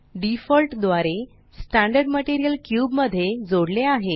default द्वारे standard material cube मध्ये जोडले आहे